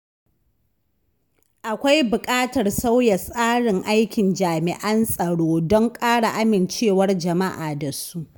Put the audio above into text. Akwai buƙatar sauya tsarin aikin jami’an tsaro don ƙara amincewar jama’a da su.